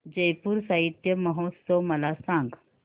जयपुर साहित्य महोत्सव मला सांग